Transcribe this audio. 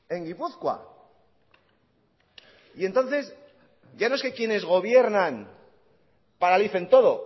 en gipuzkoa y entonces ya no es que quienes gobiernan paralicen todo